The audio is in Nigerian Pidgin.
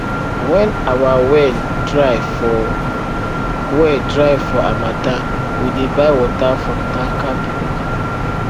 when our well dry for well dry for harmattan we dey buy water from tanker people